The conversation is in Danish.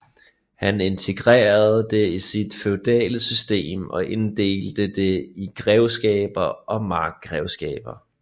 Han integrerede det i sit feudale system og inddelte det i grevskaber og markgrevskaber